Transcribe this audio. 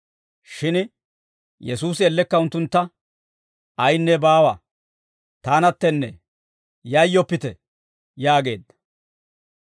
Shin Yesuusi ellekka unttuntta, «Ayinne baawa; taanattee; yayyoppite!» yaageedda.